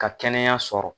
Ka kɛnɛya sɔrɔ